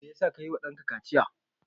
Me ya sa ka yi wa ɗanka kaciya?